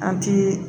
An ti